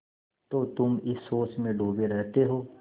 तो तुम इस सोच में डूबे रहते हो